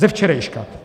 Ze včerejška.